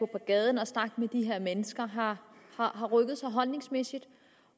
gaden og snakke med de her mennesker har har rykket sig holdningsmæssigt